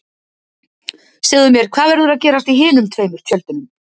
Segðu mér, hvað verður að gerast í hinum tveimur tjöldunum?